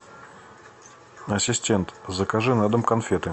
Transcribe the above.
ассистент закажи на дом конфеты